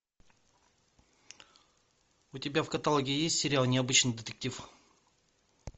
у тебя в каталоге есть сериал необычный детектив